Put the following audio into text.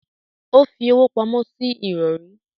o fí ọwọ pàmò sí irọri.